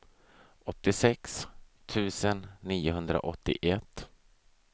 åttiosex tusen niohundraåttioett